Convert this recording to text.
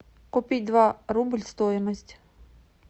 купить два рубль стоимость